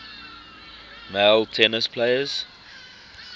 male tennis players